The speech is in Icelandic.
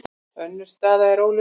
Önnur staða er óljós.